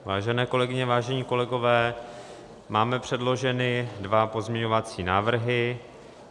Vážené kolegyně, vážení kolegové, máme předloženy dva pozměňovací návrhy.